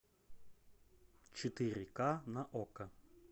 четыре ка на окко